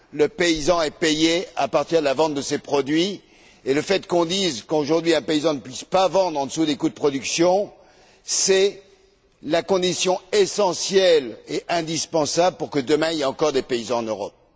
Le paysan est payé à partir de la vente de ses produits et le fait qu'on dise qu'aujourd'hui un paysan ne puisse pas vendre en dessous des coûts de production, c'est la condition essentielle et indispensable pour que, demain, il y ait encore des paysans en Europe.